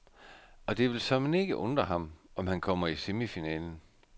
Og det vil såmænd ikke undre ham, om han kommer i semifinalen.